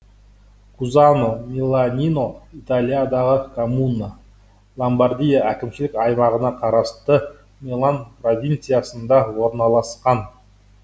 кузано миланино италиядағы коммуна ломбардия әкімшілік аймағына қарасты милан провинциясында орналасқан